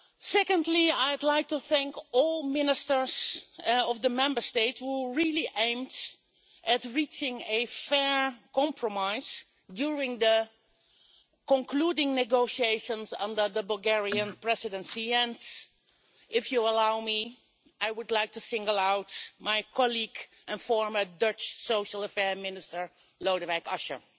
Secondly, I would like to thank all ministers of the Member States who really aimed at reaching a fair compromise during the concluding negotiations under the Bulgarian Presidency, and if you allow me, I would like to single out my colleague and former Dutch Social Affairs Minister Lodewijk Asscher.